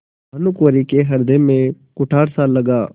भानुकुँवरि के हृदय में कुठारसा लगा